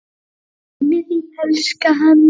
Síminn til þín, elskan!